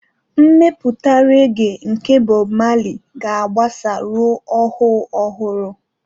Mmetụta reggae nke Bob Marley ga-agbasa ruo ọhụụ ọhụrụ.